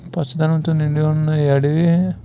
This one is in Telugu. పచ్చదనం తో నిండి ఉన్న ఈ అడవి --